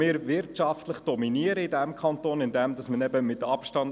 Wir haben einen kleinen Vorsprung in Bezug auf den Zeitplan.